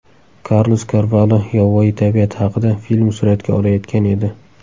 Karlos Karvalo yovvoyi tabiat haqida film suratga olayotgan edi.